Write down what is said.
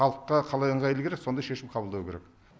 халыққа қалай ыңғайлы керек сондай шешім қабылдау керек